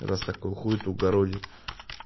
раз такую хуету городит